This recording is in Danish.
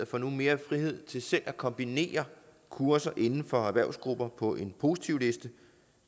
får nu mere frihed til selv at kombinere kurser inden for erhvervsgrupper på en positivliste